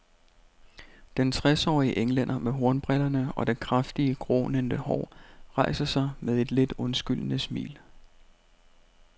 Den tresårige englænder med hornbrillerne og det kraftige, grånende hår, rejser sig med et lidt undskyldende smil.